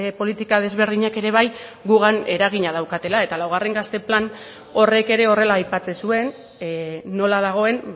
politika desberdinak ere bai gugan eragina daukatela eta laugarren gazte plan horrek ere horrela aipatzen zuen nola dagoen